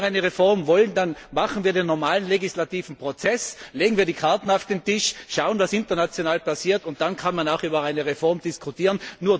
wurde. Wenn wir eine Reform wollen, dann gehen wir nach dem normalen Legislativverfahren vor, legen wir die Karten auf den Tisch, schauen, was international passiert, und dann kann man auch über eine Reform diskutieren.